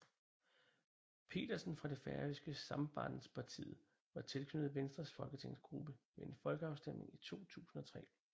Petersen fra det færøske Sambandspartiet var tilknyttet Venstres folketingsgruppe ved en krigsafstemning i 2003